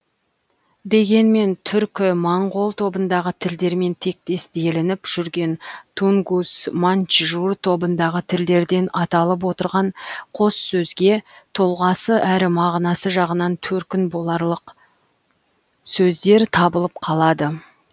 дегенмен түркі моңғол тобындағы тілдермен тектес делініп жүрген тунгус маньчжур тобындағы тілдерден аталып отырған қос сөзге тұлғасы әрі мағынасы жағынан төркін боларлық сөздер табылып қалады